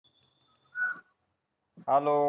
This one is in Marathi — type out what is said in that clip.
हॅलो